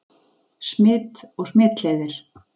Smit og smitleiðir